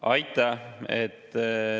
Aitäh!